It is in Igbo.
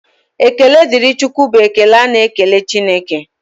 Ekele dịrị Chukwu bụ ekele a na-ekele Chineke.